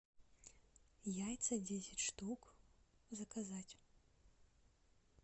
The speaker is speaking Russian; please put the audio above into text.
яйца десять штук заказать